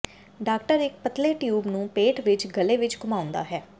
doctor ਇਕ ਪਤਲੇ tube ਨੂੰ ਪੇਟ ਵਿਚ ਗਲੇ ਵਿਚ ਘੁਮਾਉਂਦਾ ਹੈ